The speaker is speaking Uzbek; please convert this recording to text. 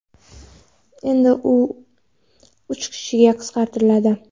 endi u uch kishiga qisqartiriladi.